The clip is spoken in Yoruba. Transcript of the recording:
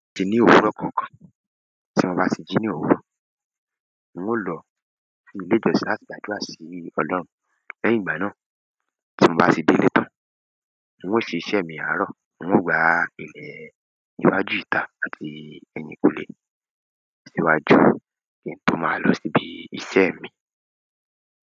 Ti ní òwúrọ̀ kọ̀ọ̀kan tí mo bá ti jí ní òwúrọ̀, n ó lọ sí ilé ìjọsìn láti gbàdúrà sí Ọlọ́run. Lẹ́yìn ìgbà náà, tí n bá tí délé tán, n o sisẹ́ mi àárò, n ó gbá ilè iwájú ìta àti ẹ̀yìnkùlé, síwájú kí n tó máa lọ síbi iṣẹ́ mii.